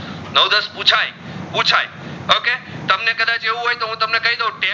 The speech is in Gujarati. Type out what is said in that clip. છે તમને કદાચ એવું હોય તો હું તમને કઈ દવ કે